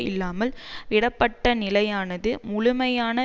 இல்லாமல் விடப்பட்ட நிலையானது முழுமையான